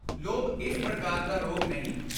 ਲੋਭ ਇਸ ਪ੍ਰਕਾਰ ਦਾ ਰੋਗ ਨਹੀਂ।